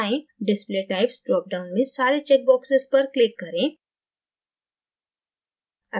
display types drop down में सारे check boxes पर click करें